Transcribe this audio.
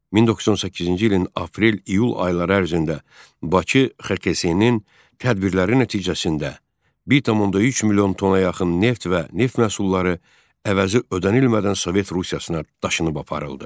1918-ci ilin aprel-iyul ayları ərzində Bakı XKS-nin tədbirləri nəticəsində 1,3 milyon tona yaxın neft və neft məhsulları əvəzi ödənilmədən Sovet Rusiyasına daşınıb aparıldı.